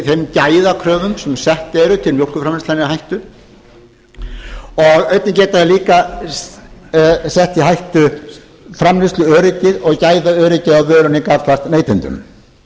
þeim gæðakröfum sem settar eru til mjólkurframleiðslunnar í hættu og einnig getur það líka sett í hættu framleiðsluöryggið og gæðaöryggi á vörunni gagnvart neytendum